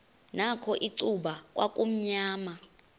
nakho icuba kwakumnyama